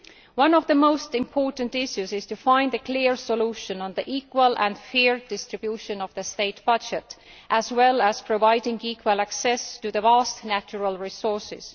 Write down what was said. One of the most important issues is to find a clear solution to the equal and fair distribution of the state budget, as well as providing equal access to the vast natural resources.